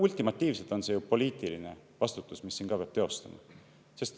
Ultimatiivselt on see ju poliitiline vastutus, mida peab teostama.